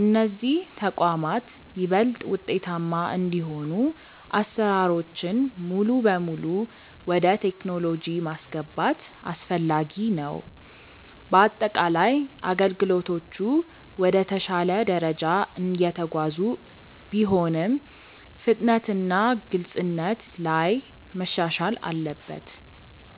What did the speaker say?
እነዚህ ተቋማት ይበልጥ ውጤታማ እንዲሆኑ አሰራሮችን ሙሉ በሙሉ ወደ ቴክኖሎጂ ማስገባት አስፈላጊ ነው። በአጠቃላይ አገልግሎቶቹ ወደ ተሻለ ደረጃ እየተጓዙ ቢሆንም፣ ፍጥነትና ግልጽነት ላይ መሻሻል አለበት።